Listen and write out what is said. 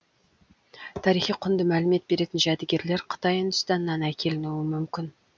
тарихи құнды мәлімет беретін жәдігерлер қытай үндістаннан әкелінуі мүмкін